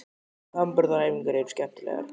Framburðaræfingarnar eru skemmtilegar.